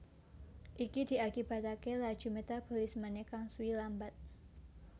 Iki diakibataké laju metabolismené kang suwi lambat